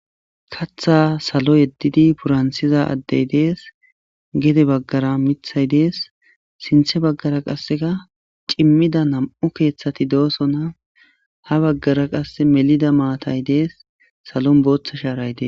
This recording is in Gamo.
katha salo yeddidi purantsiza addey dees gede baggara mithay dees sinthe baggara qaseka cimmida nam7u keeththati doosona ha baggara qase melida maatay desi salon booththa shaaray desi.